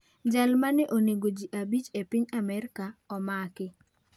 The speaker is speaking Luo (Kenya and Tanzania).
Jal ma ne onego ji abich e piny Amerka omaki